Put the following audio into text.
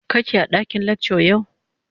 kake a dakin lecture yau?